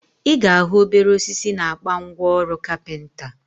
Ị ga ahụ obere osisi na akpa ngwa ọrụ kapịnta